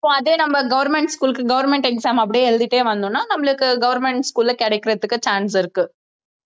இப்போ அதே நம்ம government school க்கு government exam அப்படியே எழுதிட்டே வந்தோம்ன்னா நம்மளுக்கு government school ல கிடைக்கிறதுக்கு chance இருக்கு